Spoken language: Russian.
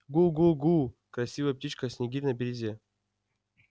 гу-гу-гу красивая птичка снегирь на берёзе